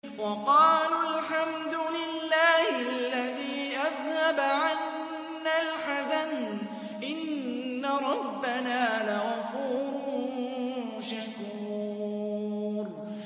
وَقَالُوا الْحَمْدُ لِلَّهِ الَّذِي أَذْهَبَ عَنَّا الْحَزَنَ ۖ إِنَّ رَبَّنَا لَغَفُورٌ شَكُورٌ